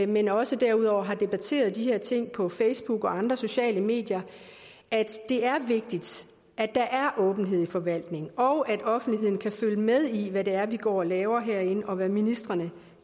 men også derudover har debatteret de her ting på facebook og andre sociale medier at det er vigtigt at der er åbenhed i forvaltningen og at offentligheden kan følge med i hvad det er vi går og laver herinde og hvad ministrene